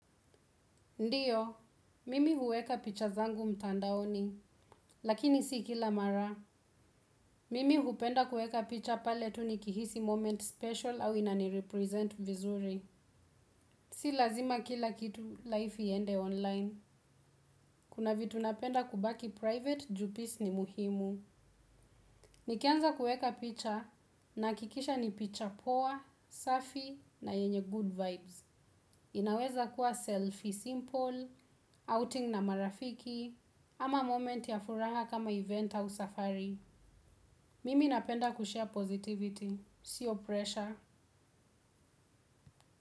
Ndiyo, mimi huweka picha zangu mtandaoni, lakini si kila mara. Mimi hupenda kueka picha pale tu ni kihisi moment special au inani represent vizuri. Si lazima kila kitu life iende online. Kuna vitu napenda kubaki private ju peace ni muhimu. Nikianza kueka picha nahakikisha ni picha poa safi na yenye good vibes. Inaweza kuwa selfie simple, outing na marafiki, ama moment ya furaha kama event au safari. Mimi napenda kushare positivity, siyo pressure.